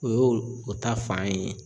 O y'o ta fan ye.